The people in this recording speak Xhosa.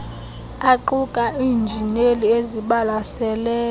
aquka iinjineli ezibalaseleyo